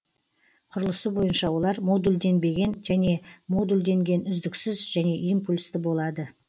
құрылысы бойынша олар модульденбеген және модулденген үздіксіз және импульсті болады